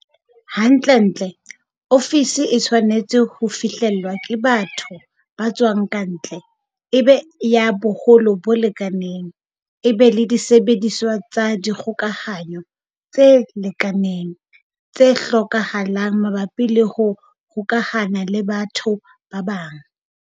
Hantlentle, ofisi e tshwanetse ho fihlellwa ke batho ba tswang ka ntle, e be ya boholo bo lekaneng, e be le disebediswa tsa dikgokahano tse lekaneng, tse hlokahalang mabapi le ho hokahana le batho ba bang.